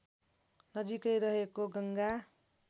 नजिकै रहेको गङ्गा